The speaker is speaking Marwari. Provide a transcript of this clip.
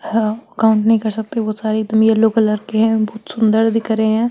हम काउंट नई कर सकते बहुत सारे लो कलर के है बहुत सुन्दर दिख रहे है।